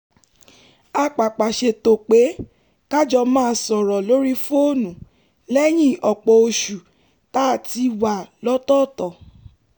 a pàpà ṣètò pé ka jọ máa sọ̀rọ̀ lórí fóònù lẹ́yìn ọ̀pọ̀ oṣù tá a ti wà lọ́tọ̀ọ̀tọ̀